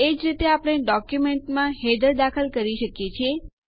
એજ રીતે આપણે ડોક્યુંમેન્ટમાં હેડર દાખલ કરી શકીએ છીએ